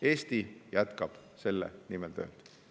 Eesti jätkab selle nimel tööd.